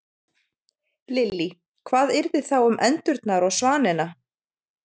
Lillý: Hvað yrði þá um endurnar og svanina?